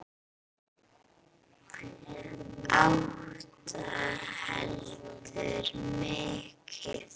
Átta heldur mikið.